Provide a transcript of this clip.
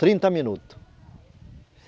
Trinta minutos.